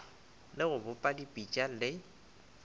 le go bopa dipitša le